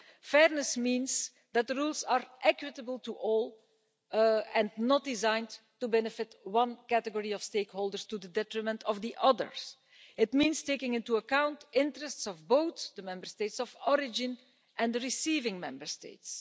Fairness means that the rules are equitable to all and not designed to benefit one category of stakeholders to the detriment of the others. It means taking into account the interests of both the Member States of origin and the receiving Member States.